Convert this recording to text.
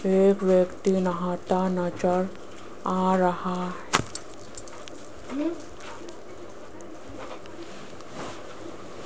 एक व्यक्ति नहाता नजर आ रहा है।